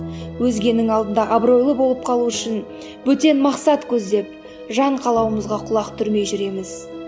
өзгенің алдында абыройлы болып қалу үшін бөтен мақсат көздеп жан қалауымызға құлақ түрмей жүреміз